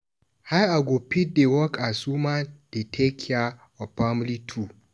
How I go fit dey work as woman dey take care of family too.